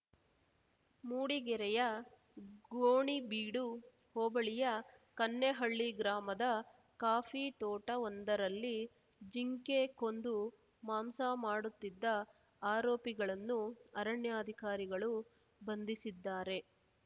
ಮೂಡಿಗೆರೆಯ ಗೋಣಿಬೀಡು ಹೋಬಳಿಯ ಕನ್ನೆಹಳ್ಳಿ ಗ್ರಾಮದ ಕಾಫಿ ತೋಟವೊಂದರಲ್ಲಿ ಜಿಂಕೆ ಕೊಂದು ಮಾಂಸ ಮಾಡುತ್ತಿದ್ದ ಆರೋಪಿಗಳನ್ನು ಅರಣ್ಯಾಧಿಕಾರಿಗಳು ಬಂಧಿಸಿದ್ದಾರೆ